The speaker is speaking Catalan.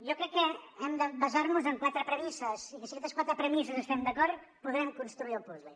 jo crec que hem de basarnos en quatre premisses i si amb aquestes quatre premisses hi estem d’acord podrem construir el puzle